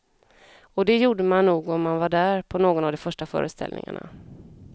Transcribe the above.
Och det gjorde man nog om man var där på någon av de första föreställningarna.